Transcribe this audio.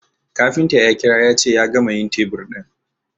kafinta ya kira yace ya gama yin tebur ɗin